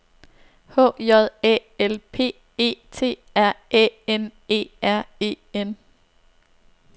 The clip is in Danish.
H J Æ L P E T R Æ N E R E N